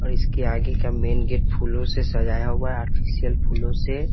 अ इसके आगे का मेन गेट फूलों से सजाया हुआ है आर्टिफीसियल फूलों से।